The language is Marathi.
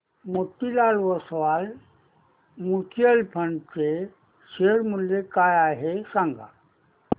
मोतीलाल ओस्वाल म्यूचुअल फंड चे शेअर मूल्य काय आहे सांगा